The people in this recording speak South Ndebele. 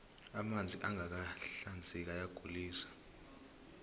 amanzi angaka hinzeki ayagulise